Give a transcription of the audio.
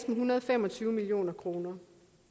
en hundrede og fem og tyve million kroner